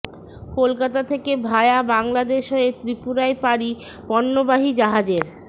কলকাতা থেকে ভায়া বাংলাদেশ হয়ে ত্রিপুরায় পাড়ি পন্যবাহী জাহাজের